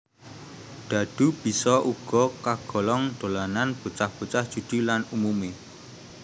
Dhadhu bisa uga kagolong dolanan bocah bocah judi lan umumé